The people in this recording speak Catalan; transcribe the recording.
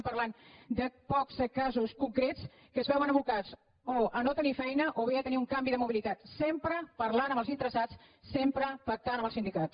parlem de pocs casos concrets en què es veuen abocats o a no tenir feina o bé a tenir un canvi de mobilitat sempre parlant amb els interessats sempre pactant amb els sindicats